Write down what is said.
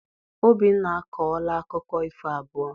Obinna akọọla akụkọ ifo abụọ.